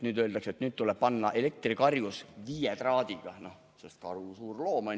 Nüüd öeldakse, et tuleb paika panna elektrikarjus viie traadiga, sest karu on ju suur loom.